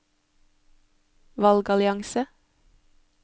valgallianse